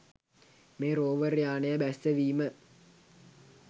මේ රෝවර් යානය බැස්සවීම